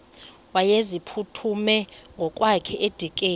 wayeziphuthume ngokwakhe edikeni